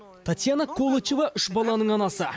татьяна колачева үш баланың анасы